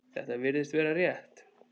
Þetta virðist vera rétt.